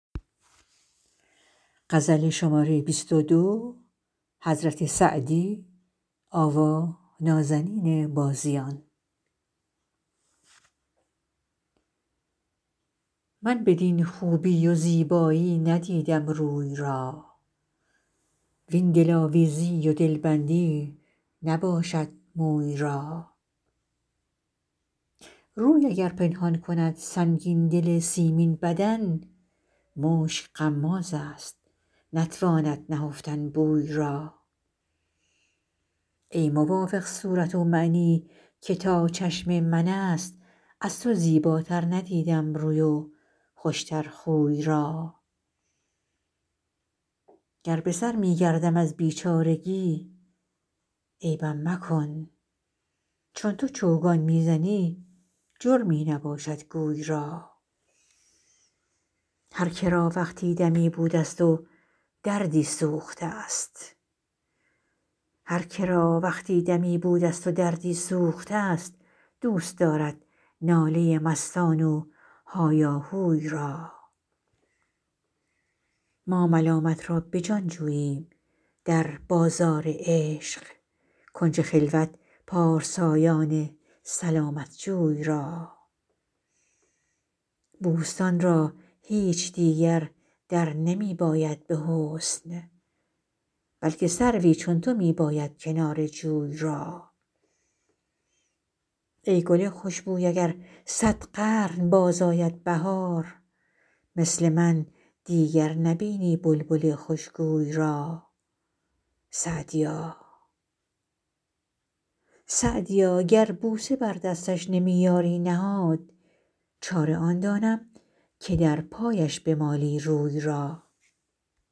من بدین خوبی و زیبایی ندیدم روی را وین دلآویزی و دلبندی نباشد موی را روی اگر پنهان کند سنگین دل سیمین بدن مشک غمازست نتواند نهفتن بوی را ای موافق صورت ومعنی که تا چشم من است از تو زیباتر ندیدم روی و خوش تر خوی را گر به سر می گردم از بیچارگی عیبم مکن چون تو چوگان می زنی جرمی نباشد گوی را هر که را وقتی دمی بودست و دردی سوخته ست دوست دارد ناله مستان و هایاهوی را ما ملامت را به جان جوییم در بازار عشق کنج خلوت پارسایان سلامت جوی را بوستان را هیچ دیگر در نمی باید به حسن بلکه سروی چون تو می باید کنار جوی را ای گل خوش بوی اگر صد قرن باز آید بهار مثل من دیگر نبینی بلبل خوش گوی را سعدیا گر بوسه بر دستش نمی یاری نهاد چاره آن دانم که در پایش بمالی روی را